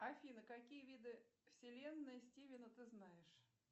афина какие виды вселенной стивена ты знаешь